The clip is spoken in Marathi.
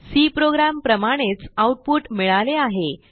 सी प्रोग्राम प्रमाणेच आऊटपुट मिळाले आहे